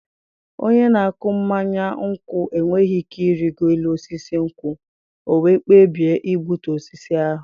Onye na-akụ mmanya nkwụ enweghị ike ịrịgo élú osisi nkwụ, ọ wee kpebie igbutu osisi ahụ.